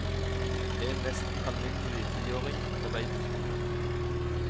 En nesten alminnelig tiåring på vei til skolen.